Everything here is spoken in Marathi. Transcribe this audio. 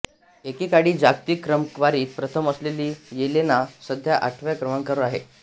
एके काळी जागतिक क्रमवारीत प्रथम असलेली येलेना सध्या आठव्या क्रमांकावर आहे